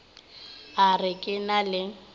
a re ke na le